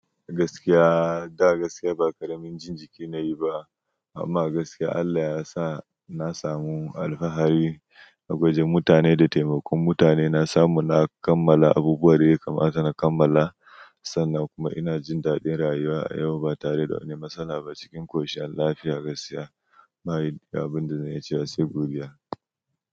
Gaskiyaa, kai gaskiya ba ƙaramin jin jiki nayi ba amma gaskiya Allah yasa na samu alfahari na gwaje mutane da taimakon mutane na samu na kammala abubuwan da ya kamata na kammala sannan kuma ina jin daɗin rayuwa a yau ba tare da wani matsala ba cikin ƙoshin lafiya, gaskiya. Bani da abin da zan iya cewa sai godiya.